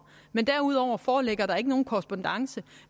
men derudover foreligger der ikke nogen korrespondance